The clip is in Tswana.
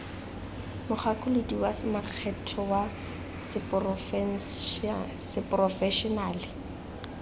mogakolodi wa makgetho wa seporofešenale